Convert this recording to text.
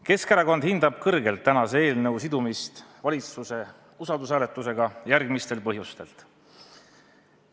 Keskerakond hindab kõrgelt tänase eelnõu sidumist valitsuse usaldusküsimuse hääletusega järgmistel põhjustel.